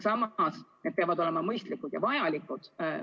Samas need kulud peavad olema mõistlikud ja vajalikud.